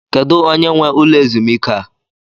Kedu onye nwe ụlọ ezumike a?